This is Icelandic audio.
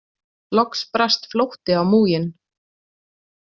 Loks brast flótti á múginn.